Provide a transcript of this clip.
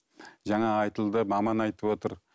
жаңа айтылды маман айтып отыр